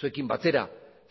zuekin batera